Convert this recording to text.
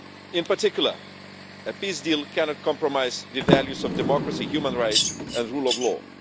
In particular, a peace deal cannot compromise the values of democracy, human rights and rule of law.